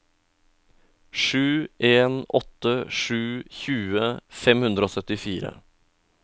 sju en åtte sju tjue fem hundre og syttifire